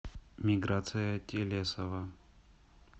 миграция телесова